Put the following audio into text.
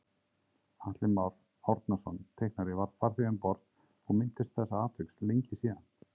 Atli Már Árnason teiknari var farþegi um borð og minntist þessa atviks lengi síðan